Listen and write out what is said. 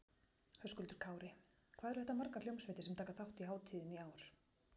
Höskuldur Kári: Hvað eru þetta margar hljómsveitir sem taka þátt í hátíðinni í ár?